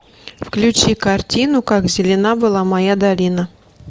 включи картину как зелена была моя долина